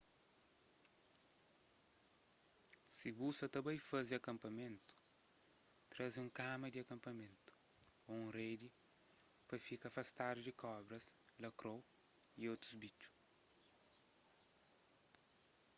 si bu sa ta bai faze kapamenu traze un kama di kanpamentu ô un redi pa fka afastadu di kobras lakrou y otus bitxu